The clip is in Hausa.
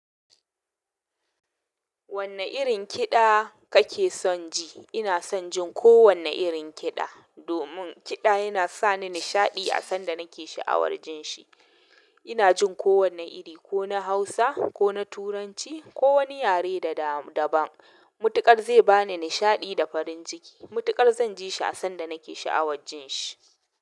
Wanne irin kiɗa kake son ji? Ina son jin kowane irin kiɗa. Domin kiɗa yana sa ni nishaɗi a sanda nake sha'awar jin shi. Ina jin ko wanne iri, ko na Hausa, ko na Turanci, ko wani yare da daban. Mutukar zai ba ni nishaɗi da farin ciki. Mutukar zan ji shi a sanda nake sha'awar jin shi.